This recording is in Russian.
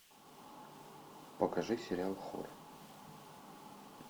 покажи сериал хор